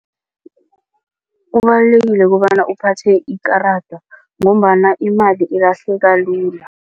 Kubalulekile kobana uphathe ikarada ngombana imali ilahleka lula.